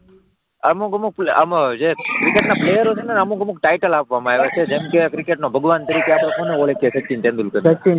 અમુક અમુક આમાં જે ક્રિકેટના પ્લેયર હોય છે, તેને અમુક અમુક ટાઇટલ આપવામાં આવે છે જેમ કે ક્રિકેટના ભગવાન તરીકે આપણે કોને ઓળખીએ? સચિન તેંડુલકરને